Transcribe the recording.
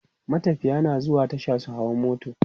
matafiya na zuwa Tasha su hau mota